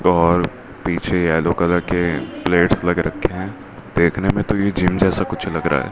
और पीछे yellow colour के प्लेट्स लग रखे हैं देखने में तो ये जिम जैसा कुछ लग रहा है।